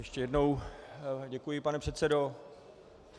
Ještě jednou děkuji, pane předsedo.